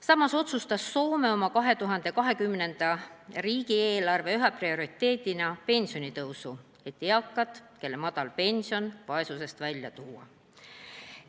Samas otsustas Soome oma 2020. aasta riigieelarve üheks prioriteediks valida pensionitõusu, et eakad, kellel on madal pension, vaesusest välja tuua.